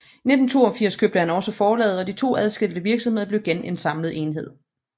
I 1982 købte han også forlaget og de to adskilte virksomheder blev igen en samlet enhed